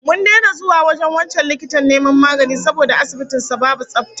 Mun daina zuwa wajen wancan likitan neman magani saboda asibitin sa babu tsafta